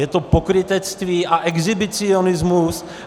Je to pokrytectví a exhibicionismus.